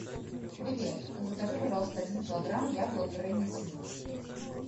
привет закажи пожалуйста один килограмм яблок гренни смит